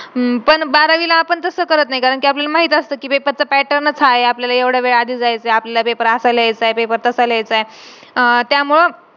आज माझ्या papa नी सांगितलं की जर तू चांगले marks नाही काढले exam ला तर तुला माझ्या घरातलं आणि माझं तोंड नाही बघायचं .